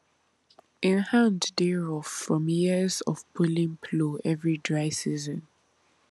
him hand dey rough from years of pulling plow every dry season